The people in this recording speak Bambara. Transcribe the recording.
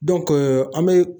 an be